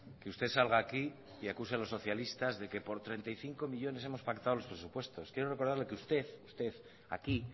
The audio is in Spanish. que usted salga aquí y acuse a los socialistas de que por treinta y cinco millónes hemos pactado los presupuestos quiero recordarle que usted aquí